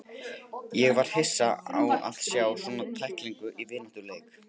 Ég var hissa á að sjá svona tæklingu í vináttuleik.